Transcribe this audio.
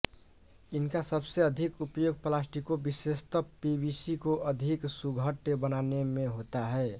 इनका सबसे अधिक उपयोग प्लास्टिकों विशेषतः पीवीसी को अधिक सुघट्य बनाने में होता है